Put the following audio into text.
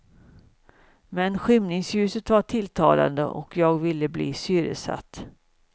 Men skymningsljuset var tilltalande och jag ville bli syresatt.